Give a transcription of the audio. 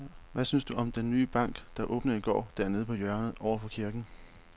Hvad synes du om den nye bank, der åbnede i går dernede på hjørnet over for kirken?